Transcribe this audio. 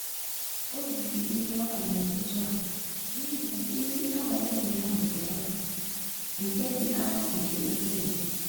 O riri nriọka n'ụtụtụ a n'ihi na nri abalị ụnyaahụ dị arọ nke dị arọ nke ukwuu.